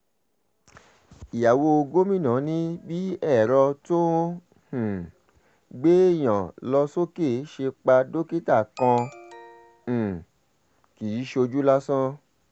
ìyàwó gómìnà ni bí ẹ̀rọ tó ń um gbéèyàn lọ sókè ṣe pa dókítà kan um kì í ṣojú lásán